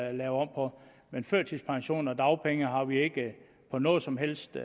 at lave om på men førtidspension og dagpenge har vi ikke på noget som helst